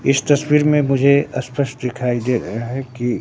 इस तस्वीर में मुझे स्पष्ट दिखाई दे रहा है कि--